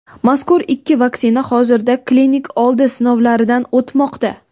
mazkur ikki vaksina hozirda klinik oldi sinovlaridan o‘tmoqda.